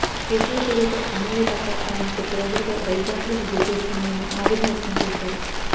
కేసుల పేరుతో ఎమ్మెల్యే భర్త తనను కొద్ది రోజులుగా భయభ్రాంతులకు గురిచేస్తున్నారని ఆవేదన వ్యక్తం చేశారు